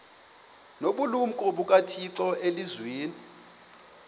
nobulumko bukathixo elizwini